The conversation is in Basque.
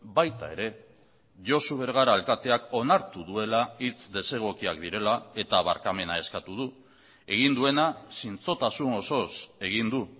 baita ere josu bergara alkateak onartu duela hitz desegokiak direla eta barkamena eskatu du egin duena zintzotasun osoz egin du